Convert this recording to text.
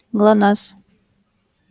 глонассс